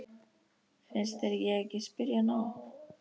Finnst þér ég ekki spyrja nóg?